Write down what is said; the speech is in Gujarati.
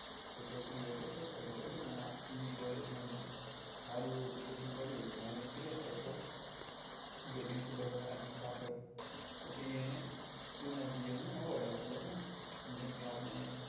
કોઈ છોકરી હોય કે છોકરો હોય બરોબર ને આખી collage માં જેને સારું એવું પ્રદર્શન કર્યું હોય તો એને select કરે બરોબર જે principal હોય આખું staff હોય પછી એને student of the year નું award આપે બરોબર ને જેમ કે આપડે